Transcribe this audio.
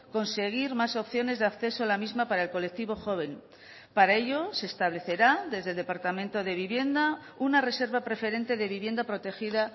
conseguir más opciones de acceso a la misma para el colectivo joven para ello se establecerá desde el departamento de vivienda una reserva preferente de vivienda protegida